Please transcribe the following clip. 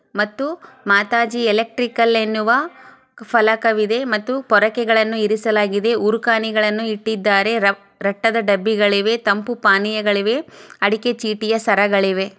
ಮತ್ತು ಮಾತಾಜಿ ಎಲೆಟ್ರಿಕಲ್ ಎನ್ನುವ ಫಲಕ ಇದೆ ಮತ್ತು ಪೂರಕೆಗಳನು ಇರಿಸಲಾಗಿದೆ-- ಊರುಕನೇಗಳನ್ನು ಇಟ್ಟಿದ್ದಾರೆ ರಟ್ಟಾದ್ ಡಬ್ಬಿಗಳಿವೆ ತಂಪೂ ಪಾನೀಯಗಳಿವೆ ಅಡಿಕೆಯ ಚೀಟಿಯ ಸರಗಳಿವೆ.